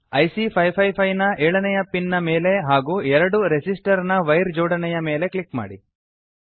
IC 555 ನ ಏಳನೆಯ pin ನ ಮೇಲೆ ಹಾಗೂ ಎರಡು ರೆಸಿಸ್ಟರ್ ನ ವೈರ್ ಜೋಡಣೆಯ ಮೇಲೆ ಕ್ಲಿಕ್ ಮಾಡಿ